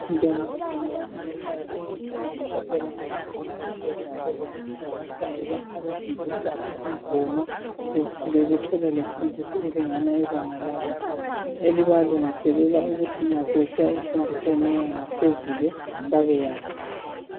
"Bantwana bantwana wozani ekhaya",leyi yingoma ehlatshelwa ngabantwana besesikolweni sabo lapha abafundiswa izingoma bethole lemfundiso elingana ibanga labo elibalungiselela ukuthi nxa sebesiya emfundisweni engaphezulu babeyazi.